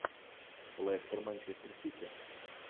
лестер манчестер сити